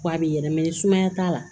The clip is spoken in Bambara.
Ko a bɛ yɛlɛ ni sumaya t'a la